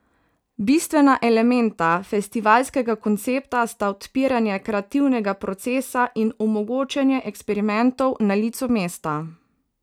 Bistvena elementa festivalskega koncepta sta odpiranje kreativnega procesa in omogočanje eksperimentov na licu mesta.